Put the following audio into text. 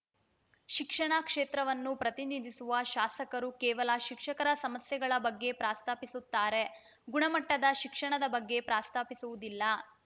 ಶಿಕ್ಷಣ ಕ್ಷೇತ್ರವನ್ನು ಪ್ರತಿನಿಧಿಸುವ ಶಾಸಕರು ಕೇವಲ ಶಿಕ್ಷಕರ ಸಮಸ್ಯೆಗಳ ಬಗ್ಗೆ ಪ್ರಸ್ತಾಪಿಸುತ್ತಾರೆ ಗುಣಮಟ್ಟದ ಶಿಕ್ಷಣದ ಬಗ್ಗೆ ಪ್ರಸ್ತಾಪಿಸುವುದಿಲ್ಲ